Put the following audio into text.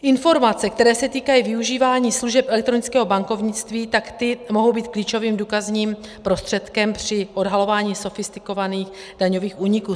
Informace, které se týkají využívání služeb elektronického bankovnictví, tak ty mohou být klíčovým důkazním prostředkem při odhalování sofistikovaných daňových úniků.